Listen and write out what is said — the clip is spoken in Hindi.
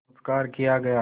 संस्कार किया गया